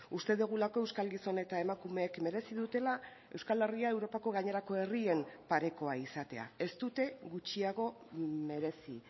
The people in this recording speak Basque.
uste dugulako euskal gizon eta emakumeek merezi dutela euskal herria europako gainerako herrien parekoa izatea ez dute gutxiago merezi